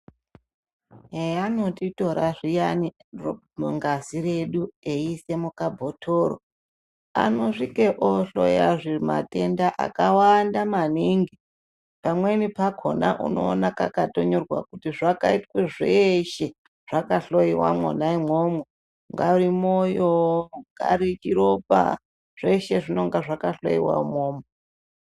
Heyanotitora zviyani ngazi redu eyiisa mukabhotoro anosvika ohloyazve matenda akawanda maningi. Pamweni pakona unoona kakatonyorwa kuti zvakaitwa zveshe, zvakahloyiwa mwona umwomwo. Ungari mwoyo, chingari chiropa zveshe zvinenge zvakahloyiwa umwomwo.